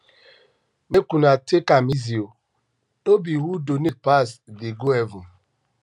make una take am easy oo no be who donate pass dey go heaven